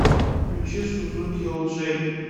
включи сузуки элджей